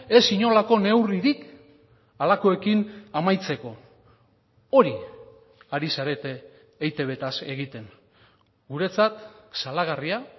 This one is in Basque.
ez inolako neurririk halakoekin amaitzeko hori ari zarete eitb taz egiten guretzat salagarria